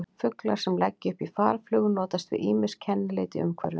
Fuglar sem leggja upp í farflug notast við ýmis kennileiti í umhverfinu.